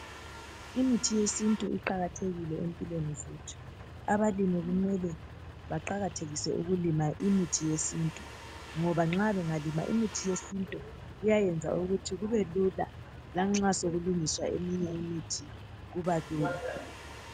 Imithi yesintu iqakathekile empilweni zethu .Abalimi kumele baqakathekise ukulima imithi yesintu ngoba nxa bengalima imithi yesintu kuyayenza ukuthi kubelula lanxa sokulungiswa eminye imithi kubalula .